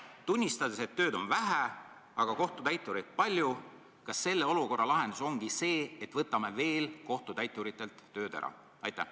Kas tunnistades, et tööd on vähe, aga kohtutäitureid palju, ongi olukorra lahendus see, et võtame kohtutäituritelt veel tööd ära?